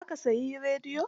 Za ka sayi rediyon?